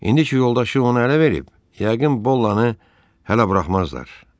İndi ki yoldaşı onu ələ verib, yəqin Bollanı hələ buraxmazlar.